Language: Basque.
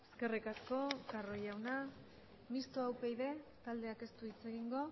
eskerrik asko carro jauna mistoa upyd taldeak ez du hitz egingo